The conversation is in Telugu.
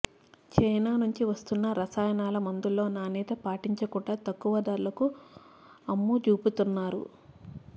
చైనా నుంచి వస్తున్న రసాయనాల మందుల్లో నాణ్యత పాటించకుండా తక్కువ ధరలకు అమ్మజూపుతున్నారు